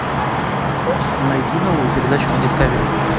найди новую передачу на дискавери